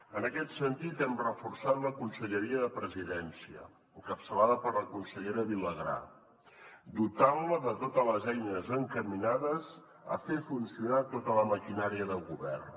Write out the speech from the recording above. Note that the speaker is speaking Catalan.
en aquest sentit hem reforçat la conselleria de presidència encapçalada per la consellera vilagrà dotant la de totes les eines encaminades a fer funcionar tota la maquinària de govern